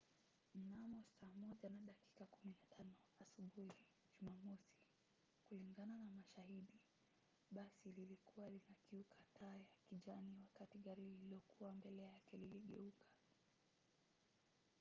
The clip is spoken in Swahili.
mnamo saa 1 na dakika 15 asubuhi jumamosi kulingana na mashahidi basi lilikuwa linakiuka taa ya kijani wakati gari lililokuwa mbele yake liligueka